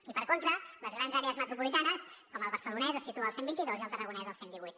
i per contra a les grans àrees metropolitanes com el barcelonès es situa al cent i vint dos i al tarragonès al cent i divuit